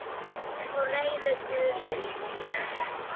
Og reiður Guði sínum.